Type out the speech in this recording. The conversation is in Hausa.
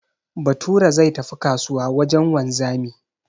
Bature zai tafi kasuwa wajen wanzami